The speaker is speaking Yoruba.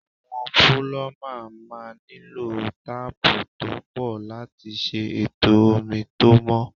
Àwọn púlọ́mà máa nílò táápù tó pọ̀ láti ṣe ètò omi tó mọ́.